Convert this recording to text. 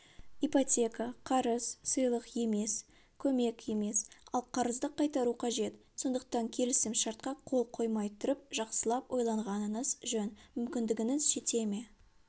ипотека қарыз сыйлық емес көмек емес ал қарызды қайтару қажет сондықтан келісім-шартқа қол қоймай тұрып жақсылап ойланғаныңыз жөн мүмкіндігіңіз жете ме